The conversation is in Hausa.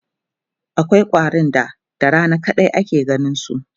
akwai ƙwarin da da Rana kadai ake ganinsu